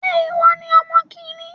Ṣé ìwọ ní ọmọ kìíní?